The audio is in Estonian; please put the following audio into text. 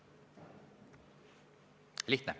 Lihtne.